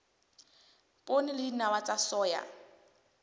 poone le dinawa tsa soya